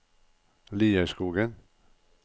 Lierskogen